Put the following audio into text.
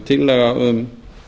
tillaga um